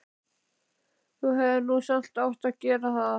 Þú hefðir nú samt átt að gera það.